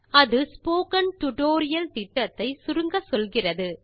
அது spoken tutorial திட்டத்தை சுருங்கச்சொல்கிறது